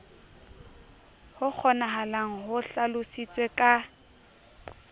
ho kgonahalang ho hlalositswe ka